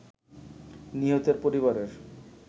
নিহতের পরিবারের